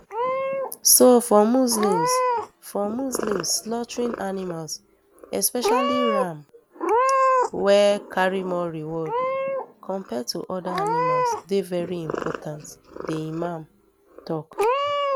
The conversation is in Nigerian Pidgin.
so for muslims for muslims slaughtering animals especially ram wey um carry more reward compared to oda animals dey veri important di imam tok